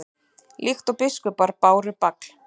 líkt og biskupar báru bagal